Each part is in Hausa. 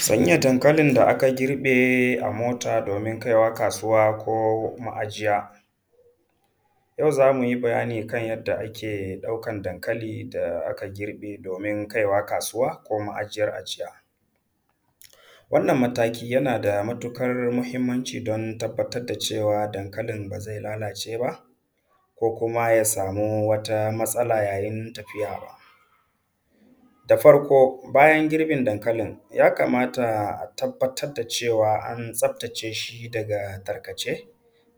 Sanya dankalin da aka girbe a mota doomin kaiwa kaasuwa koo ma'ajiya. Yau za mu yi bayani kan yadda ake ɗaukan dankali da aka girbe doomin kaiwa kaasuwa, ko ma'ajiyar ajiya. Wannan mataki yana da matuƙar muhimmanci don tabbatar da cewa dankalin ba zai lalaace ba, ko kuma ya samu wata matsala yayin tafiya. Da farko, bayan girbin dankalin, ya kamata a tabbatar da cewa an tsaftace shi daga tarkace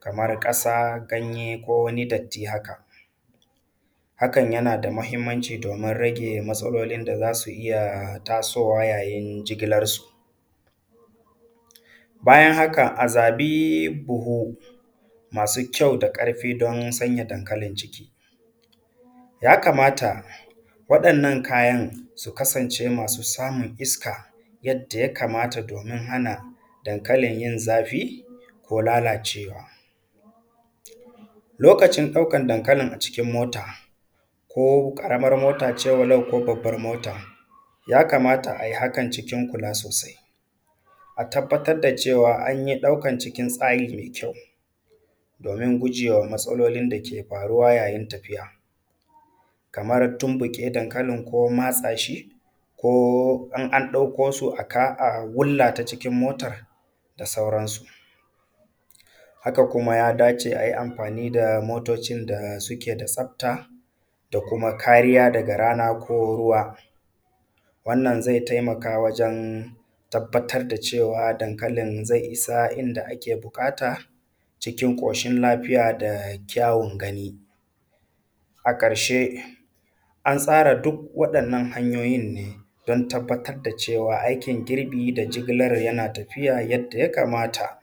kamar ƙasaa ganye ko wani datti haka, hakan yana da muhimmanci doomin rage matsalolin da za su iya tasoowa yayin jigilarsu. Bayan haka a zaɓi buhu masu kyau da ƙarfi don sanya dankalin ciki. Ya kamata waɗannan kayan su kasance masu samun iska yadda ya kamata doomin hana dankalin yin zafi ko lalaacewa. Lokacin ɗaukar dankalin acikin mota ko ƙaramar mota ce walau babban mota, ya kamata a yi hakan cikin kulaa sosai, a tabbatar da cewa an yi ɗaukar cikin tsari mai kyau, doomin gujewa matsalolin dake faruwa yayin tafiya, kamar tunbuƙe dankalin ko matsaashi ko in an ɗauko su a kaa a wullata cikin mota da sauransu. Haka kuma ya dace a yi amfani da motocin da suke da tsabta da kuma kariya daga rana ko ruwa, wannan zai tabbatar da cewa dankalin zai isa inda ake buƙata cikin ƙoshin lafiya da kyawun gani. A ƙarshe an tsara duk waɗannan hanyoyin ne don tabbatar da cewa aikin girbi da jigilar yana tafiya yadda ya kamata.